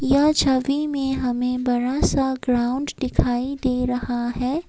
यह छवि में हमें बड़ा सा ग्राउंड दिखाई दे रहा है।